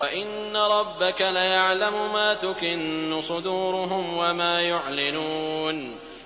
وَإِنَّ رَبَّكَ لَيَعْلَمُ مَا تُكِنُّ صُدُورُهُمْ وَمَا يُعْلِنُونَ